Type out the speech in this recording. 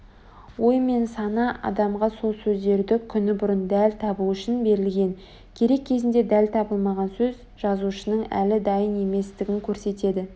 ой мен сана адамға сол сөздерді күні бұрын дәл табу үшін берілген керек кезінде дәл табылмаған сөз жазушының әлі дайын еместігін көрсетеді